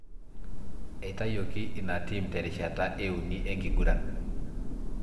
Eitayuoki ina team terishta e uni enkiguran.